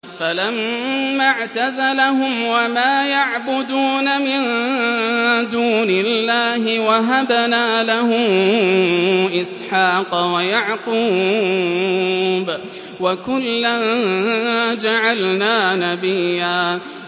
فَلَمَّا اعْتَزَلَهُمْ وَمَا يَعْبُدُونَ مِن دُونِ اللَّهِ وَهَبْنَا لَهُ إِسْحَاقَ وَيَعْقُوبَ ۖ وَكُلًّا جَعَلْنَا نَبِيًّا